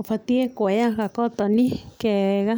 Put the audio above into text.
Ũbatiĩ kuoya gakotoni kega,